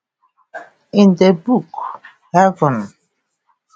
In the book 'Heaven